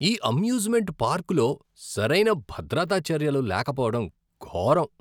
ఈ అమ్యూజ్మెంట్ పార్కులో సరైన భద్రతా చర్యలు లేకపోవడం ఘోరం.